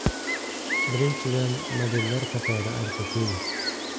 Birinchidan, modellar qatori ancha keng.